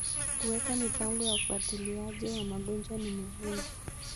Kuweka mipango ya ufuatiliaji wa magonjwa ni muhimu.